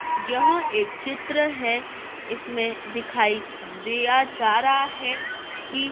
यह एक चित्र है इसमें दिखाई दिया जा रहा है कि--